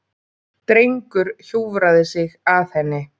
Drengur hjúfraði sig að henni.